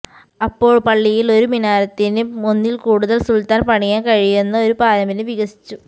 അപ്പോൾ പള്ളിയിൽ ഒരു മിനാരത്തിന് ഒന്നിൽ കൂടുതൽ സുൽത്താൻ പണിയാൻ കഴിയുന്ന ഒരു പാരമ്പര്യം വികസിച്ചു